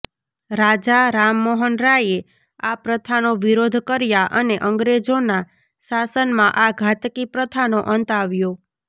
રાજા રામમોહન રાયે આ પ્રથાનો વિરોધ કર્યા અને અંગ્રેજોના શાસનમાં આ ઘાતકી પ્રથાનો અંત આવ્યો